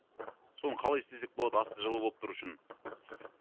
соны қалай істесек болады асты жылы болып тұруы үшін